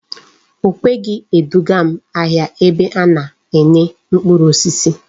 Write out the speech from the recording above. O kweghi edugam ahia ebe ana ene mkpuru osisi